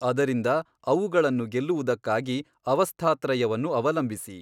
ಅದರಿಂದ ಅವುಗಳನ್ನು ಗೆಲ್ಲುವುದಕ್ಕಾಗಿ ಅವಸ್ಥಾತ್ರಯವನ್ನು ಅವಲಂಬಿಸಿ.